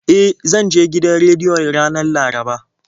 E, zan je gidan rediyon ranar Laraba.